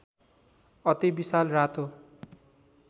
अति विशाल रातो